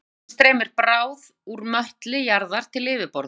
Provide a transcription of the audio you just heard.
í báðum tilvikum streymir bráð úr möttli jarðar til yfirborðs